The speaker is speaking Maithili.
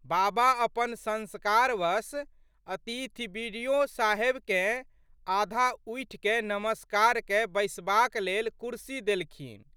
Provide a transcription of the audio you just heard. बाबा अपन संस्कारवश अतिथि बि.डि.ओ.साहेबकेँ आधा उठिकए नमस्कार कए बैसबाक लेल कुर्सी देलखिन।